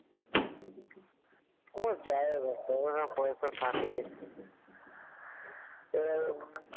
পকেটে পয়সা থাকে